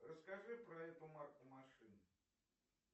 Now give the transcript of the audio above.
расскажи про эту марку машины